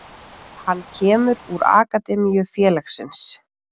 Hann kemur úr akademíu félagsins.